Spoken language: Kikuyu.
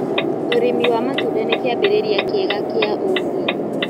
Ũrĩmĩ wa matũnda nĩ kĩambĩrĩrĩa kĩega gĩa ũgĩĩ